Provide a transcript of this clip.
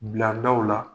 Bila daw la